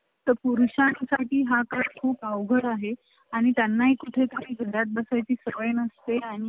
पुरुषां साठी हा काळ खूप अवघड आहे आणि त्यांना कुठे तरी घरात बसाय ची सवय नसते आणि